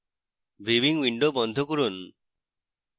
viewing window বন্ধ করুন